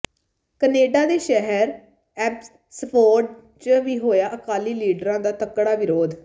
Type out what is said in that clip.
Canada ਦੇ ਸ਼ਹਿਰ Abbotsford ਚ ਵੀ ਹੋਇਆ ਅਕਾਲੀ ਲੀਡਰਾਂ ਦਾ ਤਕੜਾ ਵਿਰੋਧ